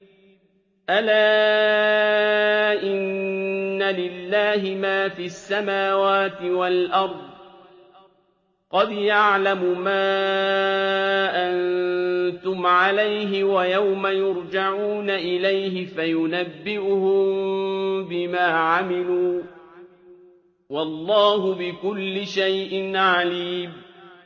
أَلَا إِنَّ لِلَّهِ مَا فِي السَّمَاوَاتِ وَالْأَرْضِ ۖ قَدْ يَعْلَمُ مَا أَنتُمْ عَلَيْهِ وَيَوْمَ يُرْجَعُونَ إِلَيْهِ فَيُنَبِّئُهُم بِمَا عَمِلُوا ۗ وَاللَّهُ بِكُلِّ شَيْءٍ عَلِيمٌ